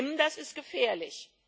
Das ist schlimm, das ist gefährlich.